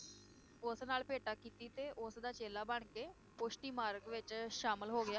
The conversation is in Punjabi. ਉਸ ਨਾਲ ਭੇਟਾ ਕੀਤੀ ਤੇ ਉਸ ਦਾ ਚੇਲਾ ਬਣ ਕੇ ਪੁਸ਼ਟੀ ਮਾਰਗ ਵਿਚ ਸ਼ਾਮਿਲ ਹੋ ਗਿਆ